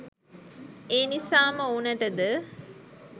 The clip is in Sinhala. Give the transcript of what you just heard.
ඒනිසාම ඔවුනටද